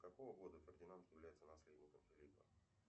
с какого года фердинанд является наследником филиппа